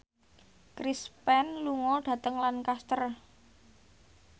Chris Pane lunga dhateng Lancaster